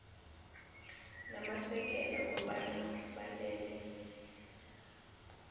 namasekela kobana balele